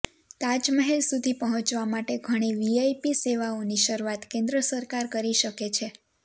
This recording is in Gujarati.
તાજમહેલ સુધી પહોંચવા માટે ઘણી વીઆઈપી સેવાઓની શરૂઆત કેન્દ્ર સરકાર કરી શકે છે